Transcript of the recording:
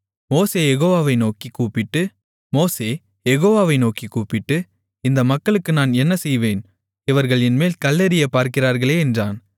மோசே யெகோவாவை நோக்கிக் கூப்பிட்டு இந்த மக்களுக்கு நான் என்ன செய்வேன் இவர்கள் என்மேல் கல்லெறியப் பார்க்கிறார்களே என்றான்